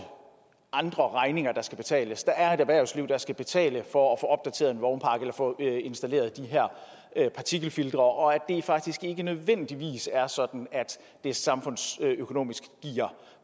andre regninger der skal betales at der er et erhvervsliv der skal betale for at få installeret de her partikelfiltre og at det faktisk ikke nødvendigvis er sådan at det samfundsøkonomisk giver